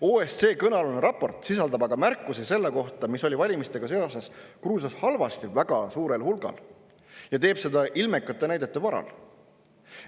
OSCE kõnealune raport sisaldab aga märkusi selle kohta, mis oli valimistega seoses Gruusias halvasti, väga suurel hulgal, ja teeb seda ilmekate näidete varal.